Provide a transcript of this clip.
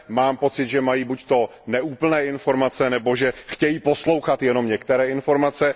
Mám pocit, že mají buď neúplné informace, nebo že chtějí poslouchat jenom některé informace.